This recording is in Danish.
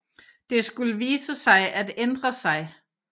Det skulle vise sig at ændre sig